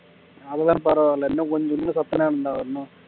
அதெல்லாம் பரவாயில்லை இன்னும் கொஞ்சம் இன்னும் சத்தமா இருந்தா என்ன